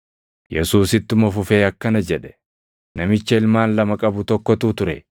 Yesuus ittuma fufee akkana jedhe; “Namicha ilmaan lama qabu tokkotu ture.